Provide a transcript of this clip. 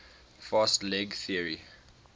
fast leg theory